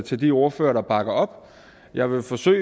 til de ordførere der bakker op jeg vil forsøge